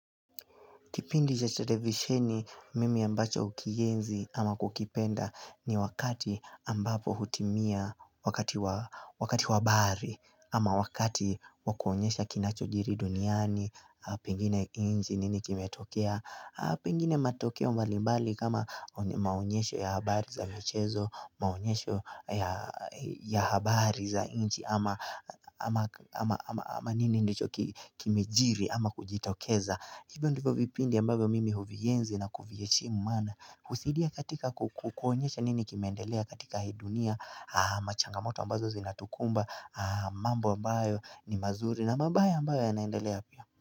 Kipindi cha televisheni, mimi ambacho ukienzi ama kukipenda ni wakati ambapo hutimia wakati wa wakati wa habari, ama wakati wa kuonyesha kinachojiri duniani, pengine inji nini kimetokea, pengine matokea mbalimbali kama maonyesho ya habari za mchezo, maonyesho ya habari za inji ama nini nicho kimejiri ama kujitokeza. Hivyo ndivyo vipindi ambavyo mimi huvienzi na kuvieshimu maana husaidia katika kukonyesha nini kimeendelea katika hidunia Machangamoto ambazo zinatukumba mambo ambayo ni mazuri na mabaya ambayo yanayoendelea.